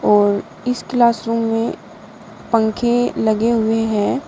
और इस क्लासरूम में पंखे लगे हुए हैं।